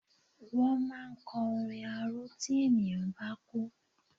Wọ́n máa ń kọ orin arò tí ènìyàn bá kú.